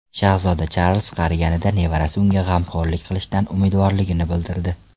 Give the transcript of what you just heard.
Shahzoda Charlz qariganida nevarasi unga g‘amxo‘rlik qilishidan umidvorligini bildirdi.